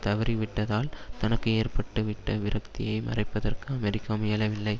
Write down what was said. தவறிவிட்டதால் தனக்கு ஏற்பட்டுவிட்ட விரக்தியை மறைப்பதற்கு அமெரிக்கா முயலவில்லை